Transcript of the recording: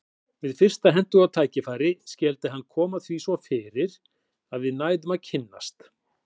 Við fyrsta hentugt tækifæri skyldi hann koma því svo fyrir að við næðum að kynnast.